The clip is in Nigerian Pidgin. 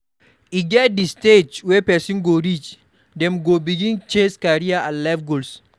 E get di stage wey person go reach dem go begin chase career and life goals